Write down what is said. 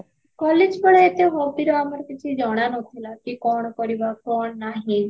college ବେଳେ ଏତେ hobby ଆମର କିଛି ଜଣା ନଥିଲା କି କଣ କରିବା କଣ ନାହି